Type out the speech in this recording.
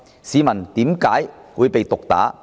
市民為何會被毒打呢？